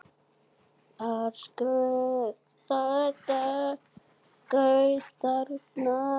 Alls gaus þarna